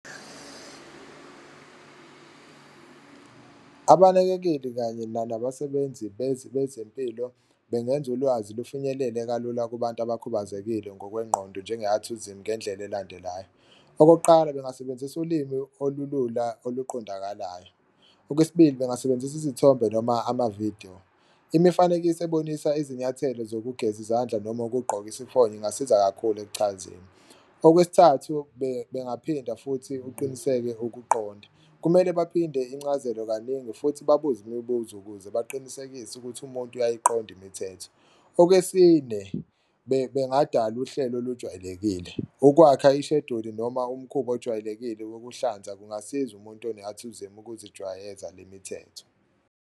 Abanakekeli kanye nabasebenzi bezempilo bengenza ulwazi lufinyelele kalula kubantu abakhubazekile ngokwengqondo njenge-athizimu ngendlela elandelayo. Okokuqala, bengasebenzisa ulimi olulula oluqondakalayo, okwesibili, bengasebenzisa izithombe noma amavidiyo, imifanekiso ebonisa izinyathelo zokugeza izandla noma ukugqoka isifonyo ingasiza kakhulu ekuchazeni. Okwesithathu bengaphinda futhi kuqiniseke ukuqonda, kumele baphinde incazelo kaningi futhi babuze imibuzo ukuze baqinisekise ukuthi umuntu uyayiqonda imithetho. Okwesine, bengadala uhlelo olujwayelekile, ukwakha isheduli noma umkhuba ojwayelekile wokuhlanza kungasiza umuntu one-athizimu ukuzijwayeza le mithetho.